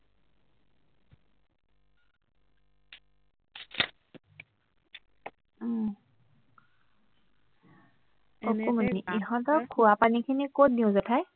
অকণমানি ইহঁতৰ খোৱাপানীখিনি কত দিও জেঠাই